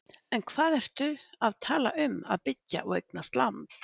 En hvað ertu að tala um að byggja og eignast land?